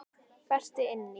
Berti inn í.